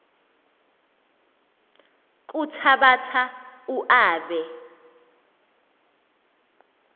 kuthabatha u aabe